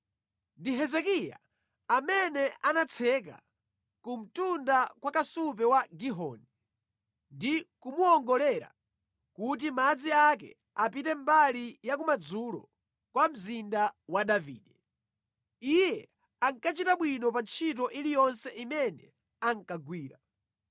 Ndi Hezekiya amene anatseka ku mtunda kwa kasupe wa Gihoni, ndi kumuwongolera kuti madzi ake apite mbali ya kumadzulo kwa Mzinda wa Davide. Iye ankachita bwino pa ntchito iliyonse imene ankagwira.